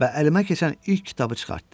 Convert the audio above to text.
Və əlimə keçən ilk kitabı çıxartdım.